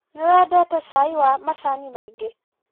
Nĩwendete cai wĩna macani maingĩ?